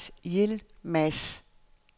Lars Yilmaz